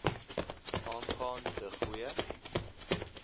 aangaan de goeie